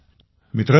मित्रांनो